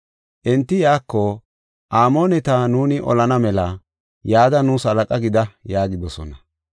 Enti iyako, “Amooneta nuuni olana mela yada nuus halaqa gida” yaagidosona.